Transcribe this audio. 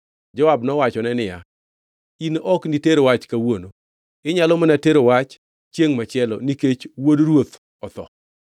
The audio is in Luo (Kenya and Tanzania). Joab nowachone niya, “In ok niter wach kawuono. Inyalo mana tero wach chiengʼ machielo, nikech wuod ruoth otho.”